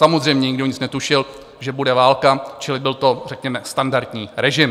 Samozřejmě, nikdo nic netušil, že bude válka, čili byl to řekněme standardní režim.